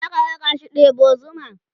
zaka rakashi ɗebo zuma?